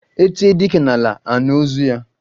E tie dike n'ala, anụ ụzụ ya